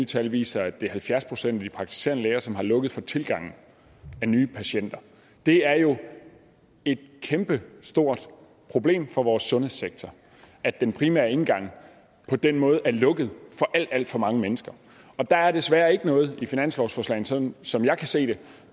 tal viser at det er halvfjerds procent af de praktiserende læger som har lukket for tilgang af nye patienter det er jo et kæmpestort problem for vores sundhedssektor at den primære indgang på den måde er lukket for alt alt for mange mennesker der er desværre ikke noget i finanslovsforslaget som jeg kan se det